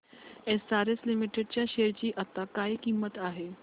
SRS limited च्या share ची आता काय किंमत आहे